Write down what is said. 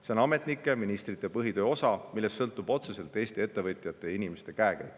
See on ametnike ja ministrite põhitöö osa, millest sõltub otseselt Eesti ettevõtjate ja inimeste käekäik.